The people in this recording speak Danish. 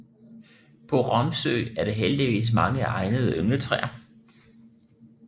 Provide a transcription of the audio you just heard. På Romsø er der heldigvis mange egnede yngletræer